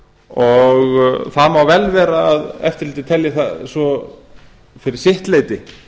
og það má vel vera að eftirlitið telji það fyrir sitt leyti